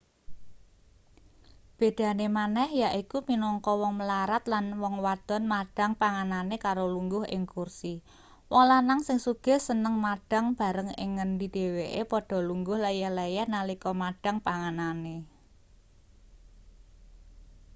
bedane maneh yaiku minangka wong mlarat lan wong wadon madhang panganane karo lungguh ing kursi wong lanang sing sugih seneng madhang bareng ing ngendi dheweke padha lungguh leyeh-leyeh nalika madhang panganane